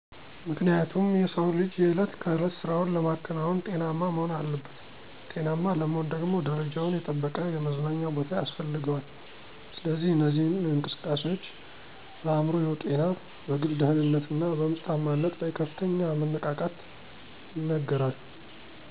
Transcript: ምክንያቱም የሰው ልጅ የዕለት ከዕለት ስራውን ለማከናወን ጤናማ መሆን አለበት ጤናማ ለመሆን ደግሞ ደረጃውን የጠበቀ የመዝናኛ ቦታ ያስፈልገዋል ስለዚህ እነዚህ እንቅስቃሴዎች በአእምሮ ጤና፣ በግል ደህንነት እና በምርታማነት ላይ ከፍተኛ መነቃቃት ይነገራል።